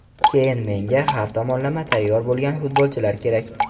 Keyin menga har tomonlama tayyor bo‘lgan futbolchilar kerak.